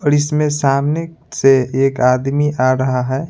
और इसमें सामने से एक आदमी आ रहा है।